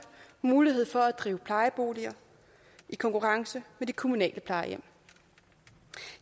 mulighed for at drive plejeboliger i konkurrence med de kommunale plejehjem